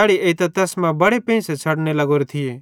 तैड़ी एइतां तैस मां बड़े पेंइसे छ़डने लग्गोरे थिये